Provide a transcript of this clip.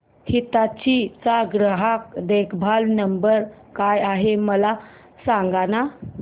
हिताची चा ग्राहक देखभाल नंबर काय आहे मला सांगाना